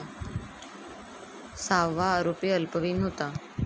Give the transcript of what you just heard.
सहावा आरोपी अल्पवयीन होता.